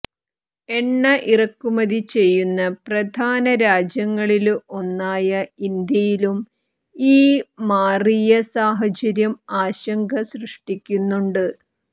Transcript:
എണ്ണ ഇറക്കുമതി ചെയ്യുന്ന പ്രധാന രാജ്യങ്ങളില് ഒന്നായ ഇന്ത്യയിലും ഈ മാറിയ സാഹചര്യം ആശങ്ക സൃഷ്ടിക്കുന്നുണ്ട്